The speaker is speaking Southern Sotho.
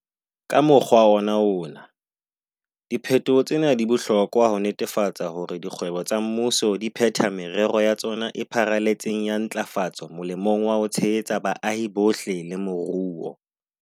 Ka mokgwa ona wona, diphetoho tsena di bohlokwa ho netefatsa hore dikgwebo tsa mmuso di phetha merero ya tsona e pharaletseng ya ntlafatso molemong wa ho tshehetsa baahi bohle le moruo.